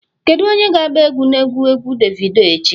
Kedu onye ga-agba egwu na egwu egwu davido echi?